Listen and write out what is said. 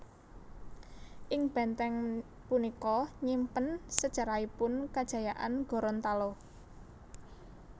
Ing bèntèng punika nyimpen sejarahipun kejayaan Gorontalo